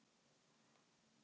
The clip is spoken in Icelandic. Þeir verða í stuði og vinna.